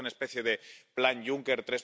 Me parece una especie de Plan Juncker